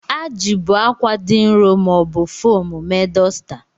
A jibu akwa dị nro ma ọ bụ foomu mee dosta.